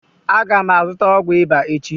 Aga m azụta ọgwụ ịba echi